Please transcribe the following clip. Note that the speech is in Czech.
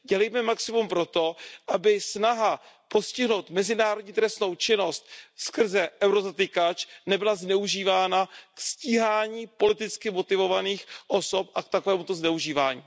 Dělejme maximum pro to, aby snaha postihnout mezinárodní trestnou činnost skrze eurozatykač nebyla zneužívána ke stíhání politicky motivovaných osob a k tomuto zneužívání.